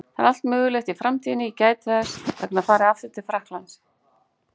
Það er allt mögulegt í framtíðinni, ég gæti þess vegna farið aftur til Frakklands.